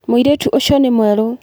Mũirĩtu ũcio nĩ mwerũ.